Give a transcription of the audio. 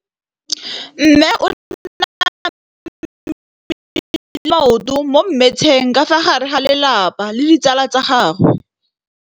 Mme o namile maoto mo mmetseng ka fa gare ga lelapa le ditsala tsa gagwe.